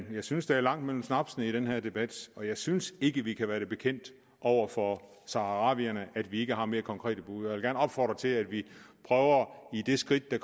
synes der er langt mellem snapsene i den her debat og jeg synes ikke vi kan være det bekendt over for saharawierne at vi ikke har mere konkrete bud og jeg opfordre til at vi prøver i det skridt der